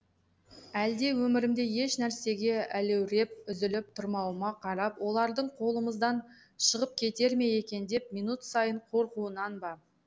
әлде өмірімде еш нәрсеге өлеуреп үзіліп тұрмауыма қарап олардың қолымыздан шығып кетер ме екен деп минут сайын қорқуынан ба